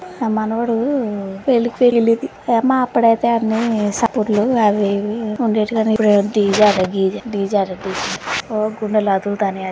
నా మనవడు పెళ్లికి వెళ్ళేది. మా అప్పుడైతే అన్ని సాప్పుట్లు అవి ఇవి ఉండేటివి. గని ఇప్పుడు ఆట డిజే ఆట గీజె. డిజే ఆట గీజే. ఓ గుండె ల అదుల్తానై.